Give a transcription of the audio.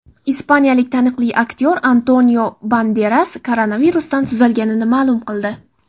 Ispaniyalik taniqli aktyor Antonio Banderas koronavirusdan tuzalganini ma’lum qildi.